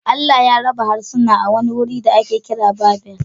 Allah ya raba harsunan a wani wuri da ake kira Babel